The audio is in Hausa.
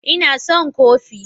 Ina son kofi